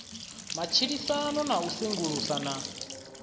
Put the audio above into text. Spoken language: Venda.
matshilisano na u sengulusa na